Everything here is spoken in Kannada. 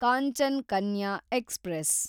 ಕಾಂಚನ್ ಕನ್ಯಾ ಎಕ್ಸ್‌ಪ್ರೆಸ್